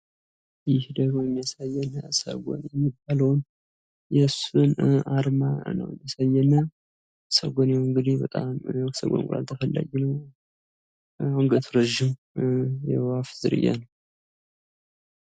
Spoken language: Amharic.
ይህ ደግሞ ሰጎን የሚባላዉን የአእዋፍ ዝርያ ነው የሱን አርማ ነው የሚያሳየን። ሰጎን እንግዲህ እንቁላሉ ተፈላጊ ነው ። የሱም አንገቱ በጣም ረጂም ነው።